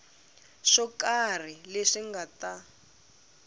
swo karhi leswi nga ta